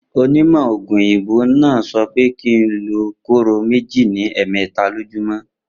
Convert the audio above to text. Onímò̩ ògùn òyìnbó náà so̩ pé kí n lo kóró méjì ní è̩è̩mé̩ta lójúmó̩